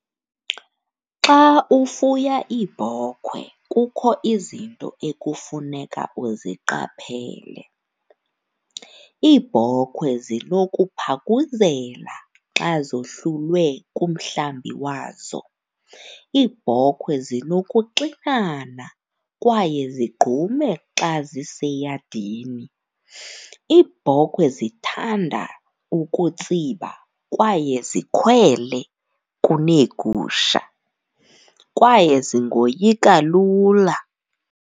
Xa ufuya iibhokhwe kukho izinto ekufuneka uziqaphele. Iibhokwe zinokuphakuzela xa zohlulwe kumhlambi wazo. Iibhokwe zinokuxinana kwaye zigqume xa ziseyadini. Iibhokhwe zithanda ukutsiba kwaye zikhwele kuneegusha, kwaye zingoyika lula.